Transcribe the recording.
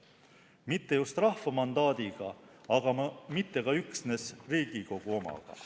Mitte just rahva mandaadiga, aga mitte ka üksnes riigikogu omaga.